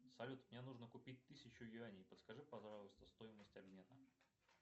салют мне нужно купить тысячу юаней подскажи пожалуйста стоимость обмена